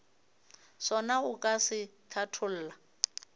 sona o ka se hlatholla